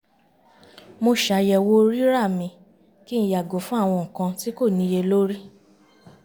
mo ṣàyẹ̀wò rírà mi kí n yàgò fún àwọn nkan tí kò níyelori